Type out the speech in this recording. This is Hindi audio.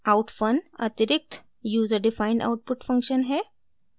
outfun : अतिरिक्त यूज़र डिफाइंड आउटपुट फंक्शन है